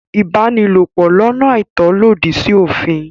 Ìbánilòpò lọ́nà àìtọ́ lòdì sí òfìn.